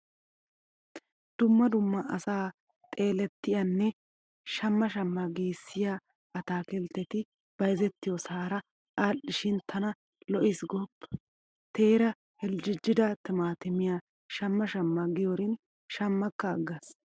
Dumma dumma asaa xeelettiyanne shamma shamma giissiya ataakiltteti bayzettiyosaara aadhdhishin tana lo'iis gooppa. Teeraa heljjejjida timaatimiya shamma shamma giyorin shammakka aggaas.